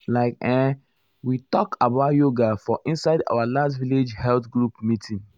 like[um]we talk about yoga for um inside our last village health group meeting.